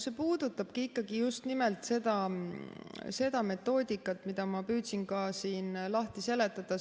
See puudutab just nimelt seda metoodikat, mida ma püüdsin ka siin lahti seletada.